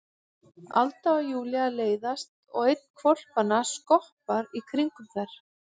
Alda og Júlía leiðast og einn hvolpanna skoppar í kringum þær.